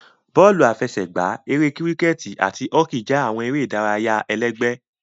Bọọlu afẹsẹgba, Ere Kiriketi ati Hoki jẹ awọn ere idaraya ẹlẹgbẹ.